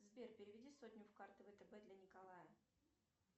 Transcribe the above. сбер переведи сотню в карты втб для николая